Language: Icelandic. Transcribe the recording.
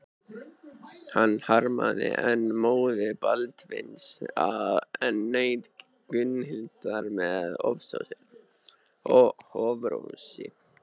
Hann harmaði enn móður Baldvins en naut Gunnhildar með offorsi.